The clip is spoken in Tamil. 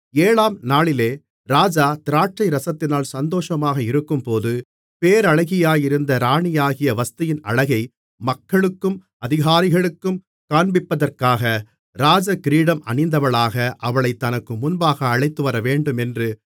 ஏழாம் நாளிலே ராஜா திராட்சைரசத்தினால் சந்தோஷமாக இருக்கும்போது பேரழகியாயிருந்த ராணியாகிய வஸ்தியின் அழகை மக்களுக்கும் அதிகாரிகளுக்கும் காண்பிப்பதற்காக ராஜகிரீடம் அணிந்தவளாக அவளைத் தனக்கு முன்பாக அழைத்துவரவேண்டுமென்று